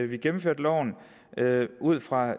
vi gennemfører loven ud fra